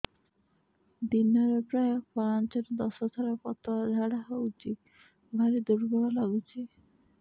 ଦିନରେ ପ୍ରାୟ ପାଞ୍ଚରୁ ଦଶ ଥର ପତଳା ଝାଡା ହଉଚି ଭାରି ଦୁର୍ବଳ ଲାଗୁଚି